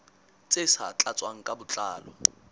tse sa tlatswang ka botlalo